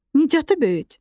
Nicatı böyüt.